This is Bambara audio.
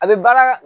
A bɛ baara